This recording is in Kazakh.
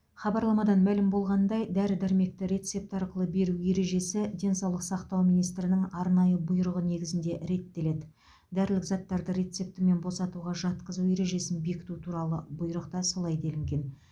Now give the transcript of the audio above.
хабарламадан мәлім болғанындай дәрі дәрмекті рецепт арқылы беру ережесі денсаулық сақтау министрінің арнайы бұйрығы негізінде реттеледі дәрілік заттарды рецептімен босатуға жатқызу ережесін бекіту туралы бұйрықта солай делінген